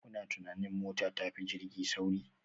Kuna tunanin mota ta fi jirgi sauri?